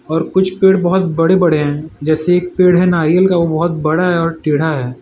और कुछ पेड़ बहुत बड़े बड़े हैं जैसे एक पेड़ हैं नारियल का वो बहुत बड़ा है और टेढ़ा है।